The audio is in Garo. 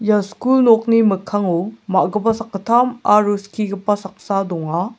ia skul nokni mikkango ma·gipa sakgittam aro skigipa saksa donga.